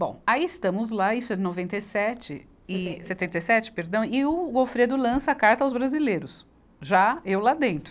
Bom, aí estamos lá, isso é noventa e sete, e setenta e sete, perdão, e o Gofredo lança a carta aos brasileiros, já eu lá dentro.